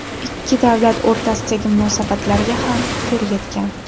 Ikki davlat o‘rtasidagi munosabatlarga ham putur yetgan.